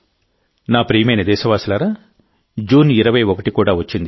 నా ప్రియమైన దేశవాసులారాజూన్ 21 కూడా వచ్చింది